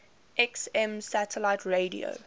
xm satellite radio